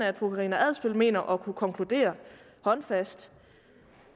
at fru karina adsbøl mener at kunne konkludere håndfast